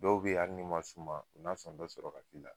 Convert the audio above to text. Dɔw be yen hali ni ma s'u ma, u na sɔn dɔ sɔrɔ ka k'i la.